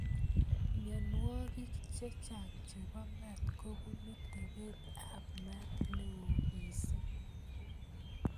Myonwogik chechang chebo maat kobunu tebet ab maat neoo missing